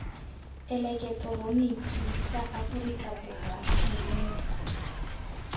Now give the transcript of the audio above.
eleketeroniki sa aforika borwa nemisa